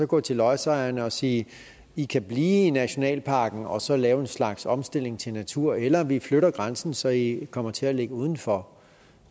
gå til lodsejerne og sige i kan blive i nationalparken og så lave en slags omstilling til natur eller vi flytter grænsen så i kommer til at ligge udenfor